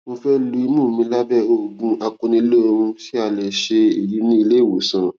mo fẹ lu imú mi lábẹ òògùn akuniloorun ṣé a lè ṣe èyí ní ilé ìwòsàn